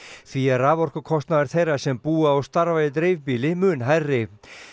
því er raforkukostnaður þeirra sem búa og starfa í dreifbýli mun hærri